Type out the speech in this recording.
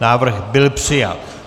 Návrh byl přijat.